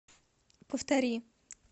повтори